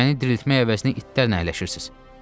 Məni diriltmək əvəzinə itlərlə əyləşirsiz.